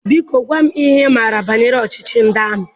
Biko, gwa m ihe ị maara banyere ọchịchị ndị amị.